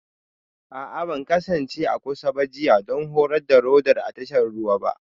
A'a ban kasance a kusa da jiya don Horon Radar a tashar ruwa ba